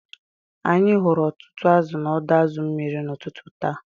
Anyị hụrụ ọtụtụ azụ̀ n’ọdọ azu mmiri n’ụtụtụ taa